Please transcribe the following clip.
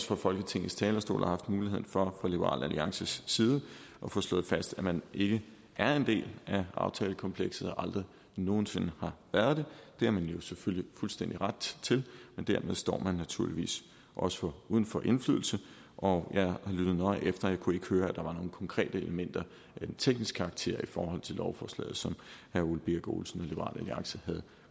fra folketingets talerstol har haft muligheden for fra liberal alliances side at få slået fast at man ikke er en del af aftalekomplekset og aldrig nogen sinde har været det det har man jo selvfølgelig fuldstændig ret til men dermed står man naturligvis også uden for indflydelse og jeg har lyttet nøje efter men jeg kunne ikke høre at der var nogen konkrete elementer af teknisk karakter i forhold til lovforslaget som herre ole birk olesen og liberal alliance havde